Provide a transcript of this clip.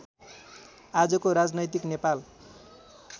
आजको राजनैतिक नेपाल